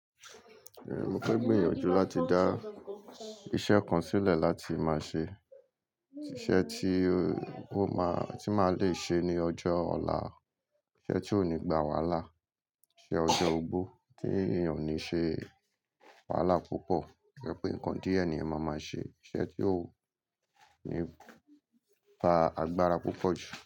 Mo pé gbìyànjú láti dá iṣẹ́ kan sílẹ̀ láti máa ṣe iṣẹ́ tí ó máa tí máa le ṣe ní ọjọ́ ọ̀la, iṣẹ́ tí ó ní ìgbà wàhálà, iṣẹ́ ọjọ́ ogbó tí ènìyàn ní ṣe wàhálà púpọ̀, tẹ́ pé nǹkan díẹ̀ ní ènìyàn máa máa ṣe, iṣẹ́ tí ó ní gbà agbára púpọ̀ jù.